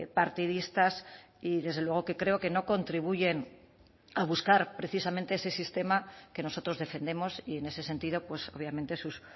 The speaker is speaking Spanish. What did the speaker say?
partidistas y desde luego que creo que no contribuyen a buscar precisamente ese sistema que nosotros defendemos y en ese sentido pues obviamente sus